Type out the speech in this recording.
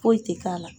Foyi tɛ k'a la